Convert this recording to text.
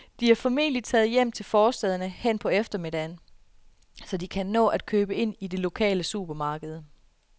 De er formentlig taget hjem til forstæderne hen på eftermiddagen, så de kan nå at købe ind i det lokale supermarked.